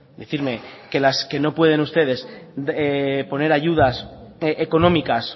decirme que las que no pueden ustedes poner ayudas económicas